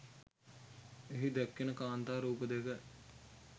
එහි දැක්වෙන කාන්තා රූප දෙක